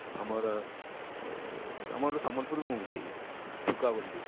ଆମର ଅଏଁ ଆମର ସମ୍ବଲପୁରୀ movie ଭୁକା ବୋଲି